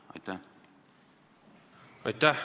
Aitäh!